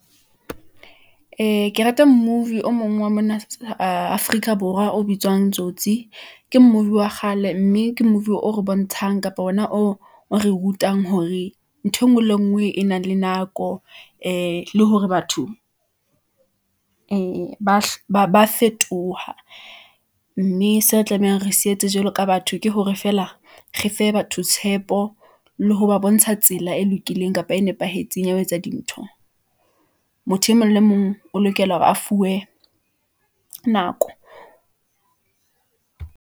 Ee, ke rata movie o mong wa mona Afrika Borwa, o bitswang tsotsi, ke movie wa kgale, mme ke movie o re bontshang kapa ona o re rutang hore , ntho engwe le ngwe e nang le nako , ee le hore batho , ba fetoha , mme seo re tlamehang re sietse jwalo ka batho, ke hore feela , re fe batho tshepo , le ho ba bontsha tsela e lokileng kapa e nepahetseng ya ho etsa dintho . Motho e mong le mong o lokela hore a fuwe nako.